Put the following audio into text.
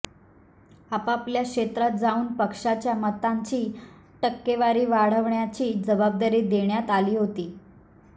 आपापल्या क्षेत्रात जाऊन पक्षाच्या मतांची टक्केवारी वाढवण्याची जबाबदारी देण्यात आली होती